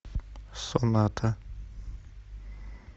соната